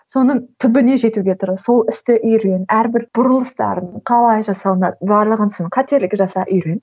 соның түбіне жетуге тырыс сол істі үйрен әрбір бұрылыстарын қалай жасалынады барлығын соның қателік жаса үйрен